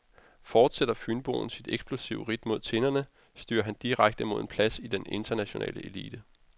Fortsætter fynboen sit eksplosive ridt mod tinderne, styrer han direkte mod en plads i den internationale elite.